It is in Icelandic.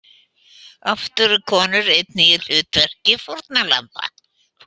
Oft eru konur einnig í hlutverki fórnarlamba.